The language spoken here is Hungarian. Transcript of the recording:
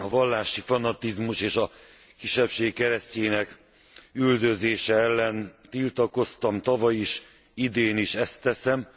A vallási fanatizmus és a kisebbség keresztjének üldözése ellen tiltakoztam tavaly is, idén is ezt teszem.